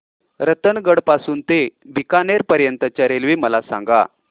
रतनगड पासून ते बीकानेर पर्यंत च्या रेल्वे मला सांगा